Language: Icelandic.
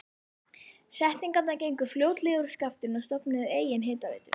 Seltirningar gengu fljótlega úr skaftinu og stofnuðu eigin hitaveitu.